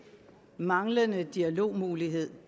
manglende dialogmulighed